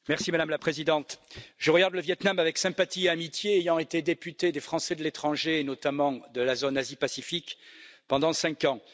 Madame la Présidente, je regarde le Viêt Nam avec sympathie et amitié, ayant été député des Français de l'étranger, et notamment de la zone Asie Pacifique pendant cinq ans.